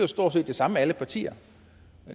stort set det samme alle partier